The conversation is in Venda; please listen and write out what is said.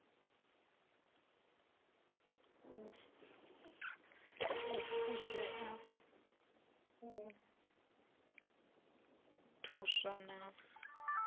u fushea u thuswa na